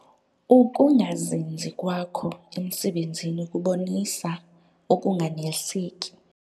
Ukungazinzi kwakho emisebenzini kubonisa ukunganeliseki.